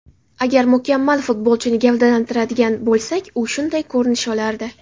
Agar mukammal futbolchini gavdalantiradigan bo‘lsak, u shunday ko‘rinish olardi.